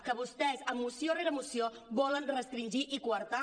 que vostès moció rere moció volen restringir i coartar